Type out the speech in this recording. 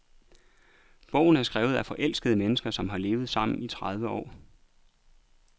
Bogen er skrevet af forelskede mennesker, som har levet sammen i tredive år.